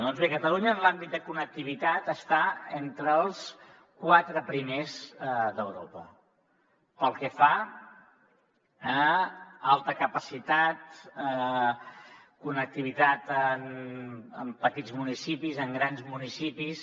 doncs bé catalunya en l’àmbit de connectivitat està entre els quatre primers d’europa pel que fa a alta capacitat connectivitat en petits municipis en grans municipis